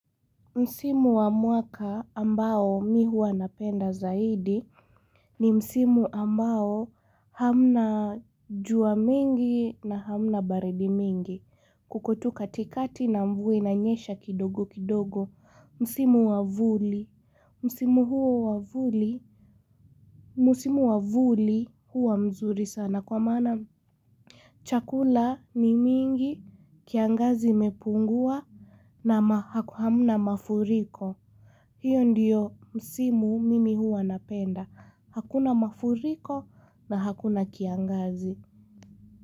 Msimu wa mwaka ambao mi hua napenda zaidi ni Msimu ambao hamna jua mingi na hamna baridi mingi kukotuka tikati na mvuwa inanyesha kidogo kidogo. Msimu wa vuli. Msimu huo wa vuli. Msimu wa vuli huwa mzuri sana kwa mana. Chakula ni mingi kiangazi imepungua na haku hamna mafuriko. Hiyo ndiyo msimu mimi huwa napenda. Hakuna mafuriko na hakuna kiangazi.